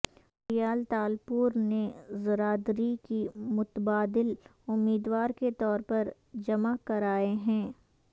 فریال تالپور نے زرداری کی متبادل امیدوار کے طور پر جمع کرائے ہیں